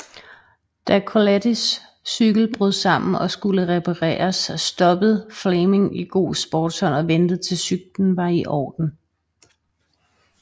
Da Kolettis cykkel brød sammen og skulle reparereres stoppede Flameng i god sportsånd og ventede til cyklen var iorden